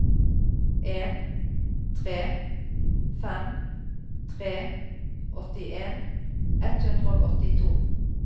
en tre fem tre åttien ett hundre og åttito